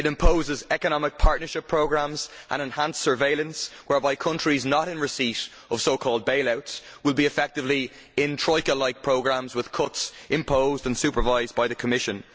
It imposes economic partnership programmes and enhanced surveillance, whereby countries not in receipt of so called bail outs will effectively be in Troika like programmes, with cuts imposed and supervised by the Commission.